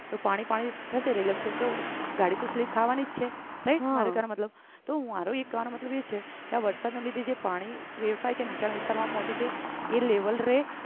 તો પાણી પાણી થશે તો ગાડી slip ખાવા ની જ છે right ખરે ખર મારો કેહ્વાનો મતલબ મારો કેવાનો મતલબ એ છે કે વરસાદના લીધે જે પાણી વેડફાય છે નીચાણ વિસ્તાર માં પોહચે છે એ level રે